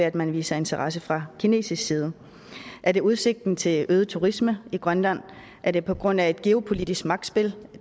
at man viser interesse fra kinesisk side er det udsigten til øget turisme i grønland er det på grund af et geopolitisk magtspil